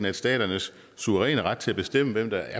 at staternes suveræne ret til at bestemme hvem der